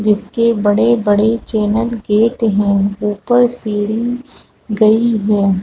जिसके बड़े बड़े चैनल गेट है उपर सीढी गई हैं ।